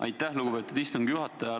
Aitäh, lugupeetud istungi juhataja!